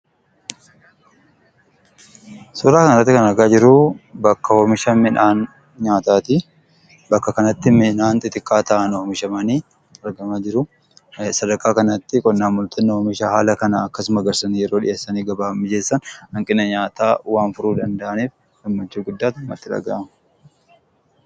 Suuraa kanarratti kan arginu bakka oomisha midhaan nyaataatii. Bakka kanatti midhaan xixiqqaa ta'an oomishamanii argamaa jiruu. Sadarkaa kanatti qonnaan bultoonni oomisha haala kana akkasuma oomishanii yeroo gabaaf dhiyeessan hanqina nyaataa waan furuu danda'aniif gammachuu guddaatu natti dhagahama.